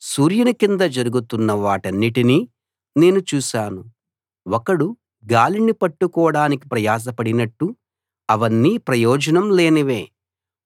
సూర్యుని కింద జరుగుతున్న వాటన్నిటినీ నేను చూశాను ఒకడు గాలిని పట్టుకోడానికి ప్రయాస పడినట్టు అవన్నీ ప్రయోజనం లేనివే